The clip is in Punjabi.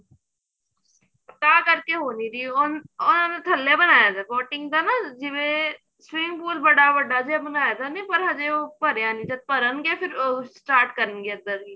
ਤਾਂ ਕਰਕੇ ਹੋ ਨੀਂ ਰਹੀ ਉਹ ਥਲੇ ਬਣਾਇਆ ਪਿਆ boating ਦਾ ਨਾ ਜਿਵੇਂ swimming pool ਬੜਾ ਵੱਡਾ ਜਿਹਾ ਬਣਾਇਆ ਪਿਆ ਪਰ ਹਜੇ ਉਹ ਭਰਿਆ ਨੀਂ ਜਦ ਭਰਨ ਗਏ start ਕਰਨ ਗੇ ਇੱਧਰ